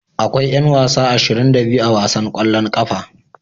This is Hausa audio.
Akwai yan wasa 22 a wasan kwallon kafa.